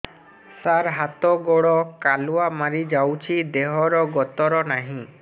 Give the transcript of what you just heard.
ସାର ହାତ ଗୋଡ଼ କାଲୁଆ ମାରି ଯାଉଛି ଦେହର ଗତର ନାହିଁ